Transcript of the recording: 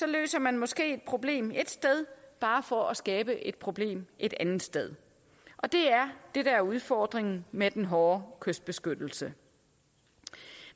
det løser man måske problemet ét sted bare for at skabe et problem et andet sted det er det der er udfordringen med den hårde kystbeskyttelse